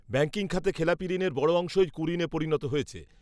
banking খাতে খেলাপি ঋণের বড় অংশই কুঋণে পরিণত হয়েছে